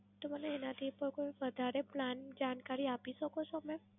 તો મને એનાથી પણ કોઈ વધારે Plan ની જાણકારી આપી શકો છો મેમ?